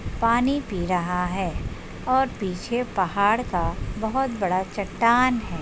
पानी पी रहा है और पीछे पहाड़ का बहुत बड़ा चट्टान है।